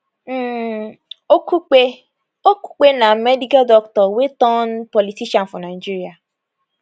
um okupe okupe na medical doctor wey turn politician for nigeria